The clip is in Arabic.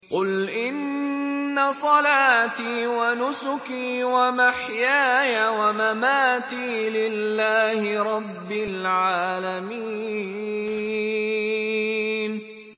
قُلْ إِنَّ صَلَاتِي وَنُسُكِي وَمَحْيَايَ وَمَمَاتِي لِلَّهِ رَبِّ الْعَالَمِينَ